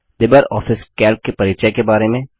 Libre office Calc के परिचय के बारे में